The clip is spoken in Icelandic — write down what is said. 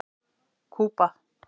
Kúba